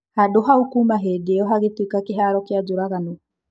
"Handũ hau kuuma hĩndĩ iyo hahĩtuĩka kĩharo kĩa njũragano."